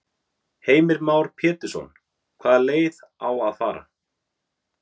Heimir Már Pétursson: Hvaða leið á að fara?